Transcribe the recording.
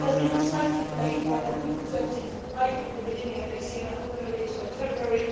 This has been slightly delayed, but I will present it by the beginning of next year I hope no later than February.